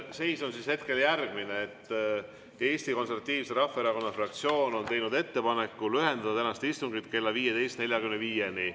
Seis on hetkel järgmine: Eesti Konservatiivse Rahvaerakonna fraktsioon on teinud ettepaneku lühendada tänast istungit kella 15.45‑ni.